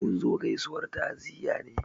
Mun zo gaizuwar ta'ziyya ne